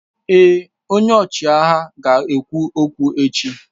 Èé, ọchịagha ga-ekwu okwu echi.